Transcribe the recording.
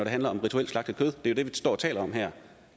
handler om rituelt slagtet kød det er jo det vi står og taler om her